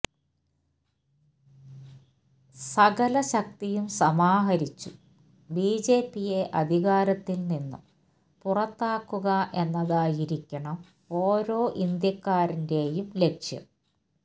സകല ശക്തിയും സമാഹരിച്ചു ബിജെപിയെ അധികാരത്തിൽ നിന്നു പുറത്താക്കുക എന്നതായിരിക്കണം ഓരോ ഇന്ത്യക്കാരന്റെയും ലക്ഷ്യം